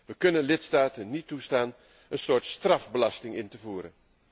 We kunnen lidstaten niet toestaan een soort strafbelasting in te voeren.